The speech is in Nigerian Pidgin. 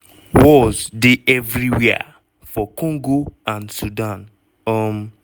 "wars dey evriwia for congo and sudan. um